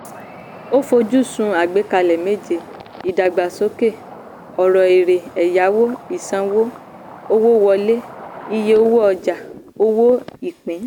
a fojúsùn àgbékalẹ̀ méje: ìdàgbàsókè ọrọ̀ èrè ẹ̀yáwó ìsanwó owó wọlé iye owó ọjà owó ìpín.